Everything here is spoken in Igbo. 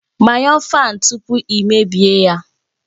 Gbanyụọ fáan tupu i mebie ya